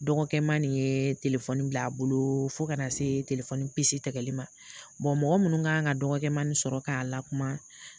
Dɔgɔkɛma nin ye bila a bolo fo kana se pisi tigɛli ma mɔgɔ minnu kan ka dɔgɔkɛma nin sɔrɔ k'a lakuma